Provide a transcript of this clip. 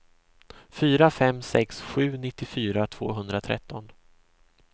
fyra fem sex sju nittiofyra tvåhundratretton